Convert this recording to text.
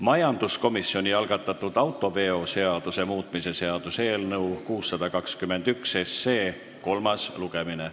Majanduskomisjoni algatatud autoveoseaduse muutmise seaduse eelnõu 621 kolmas lugemine.